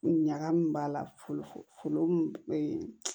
Ɲagami b'a la folo